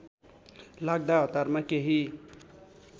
लाग्दा हतारमा केही